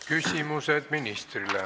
Küsimused ministrile.